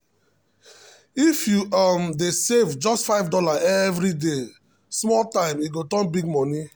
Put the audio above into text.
if you um dey save just $5 every day small um time e go turn big money.